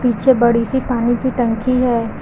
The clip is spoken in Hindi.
पीछे बड़ी सी पानी की टंकी है।